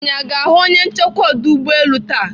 Anyị aga ahụ onye nchekwa ọdọ ụgbọelu taa?